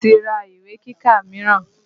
Mo ti ra ìwé kíkà míràn.